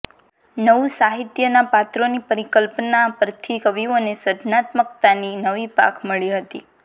નવું સાહિત્યના પાત્રોની પરિકલ્પના પરથી કવિઓને સર્જનાત્મકતાની નવી પાંખ મળી હતી